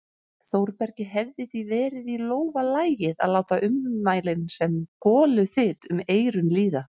Þórbergi hefði því verið í lófa lagið að láta ummælin sem goluþyt um eyrun líða.